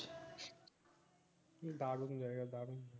দারুন জায়গা দারুন